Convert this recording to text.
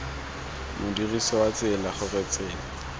modirisi wa tsela gore tsela